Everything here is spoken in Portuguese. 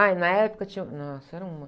Ah, e na época tinha... Nossa, era uma...